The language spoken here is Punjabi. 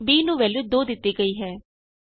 b ਨੂੰ ਵੈਲਯੂ 2 ਦਿਤੀ ਗਈ ਹੈ